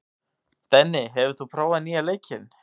Denni, hefur þú prófað nýja leikinn?